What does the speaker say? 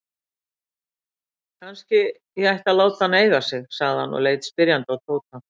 Kannski ég ætti að láta hana eiga sig? sagði hann og leit spyrjandi á Tóta.